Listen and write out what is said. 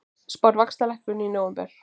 Spáir vaxtalækkun í nóvember